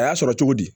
A y'a sɔrɔ cogo di